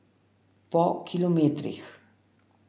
Po kilometrih.